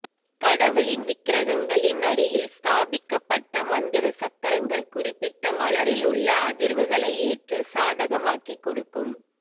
கடவுளின் விக்கிரகங்களின் அடியில் ஸ்தாபிக்கப் பட்ட மந்திர சக்கரங்கள் குறிப்பிட்ட மலரில் உள்ள அதிர்வுகளை ஏற்று சாதகமாக்கி கொடுக்கும்